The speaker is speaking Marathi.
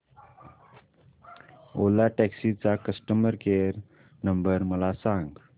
ओला टॅक्सी चा कस्टमर केअर नंबर मला सांग